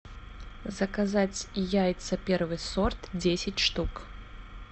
заказать яйца первый сорт десять штук